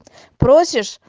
просишь